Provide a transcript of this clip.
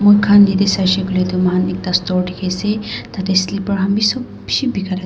amikan yete saishae koile tu mukan ekta store diki ase tate slipper kan sob bishi bekira.